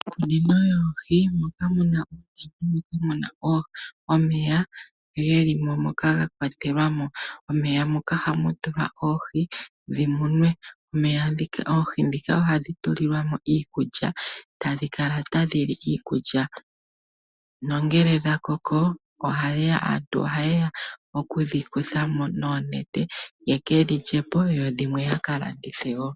Iikunino yoohi moka muna omeya gelimo moka gakwatelwamo . Momeya moka ohamu tulwa oohi shimunwe. Oohi ohadhi tulilwamo iikulya, nongele dha koko aantu ohayeya okudhi kuthamo noonete yekedhilyepo dho dhimwe ya kalandithe woo.